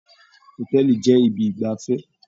Hotẹẹli jẹ ibi igbafẹ.